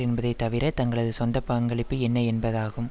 என்பதை தவிர தங்களது சொந்த பங்களிப்பு என்ன என்பதாகும்